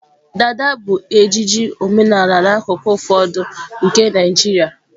dada bụ ejiji omenala n'akụkụ ụfọdụ nke Naịjirịa.